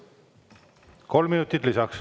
Kolm minutit lisaks.